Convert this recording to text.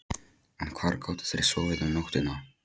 En hvar gátu þeir sofið um nóttina?